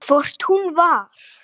Hvort hún var!